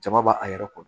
Jama b'a a yɛrɛ kɔnɔ